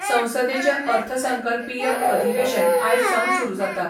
संसदेचे अर्थसंकल्पीय अधिवेशन आयज सावन सुरू जाता.